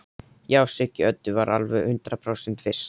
Já, Siggi Öddu var alveg hundrað prósent viss.